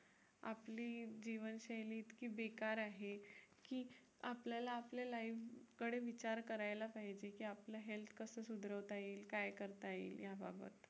आपली जीवनशैली इतकी बेकार आहे, की आपल्याला आपल्या life कडे विचार करायला पाहिजे की आपल्या health कसं सुधरवता येईल काय करता येईल याबाबत.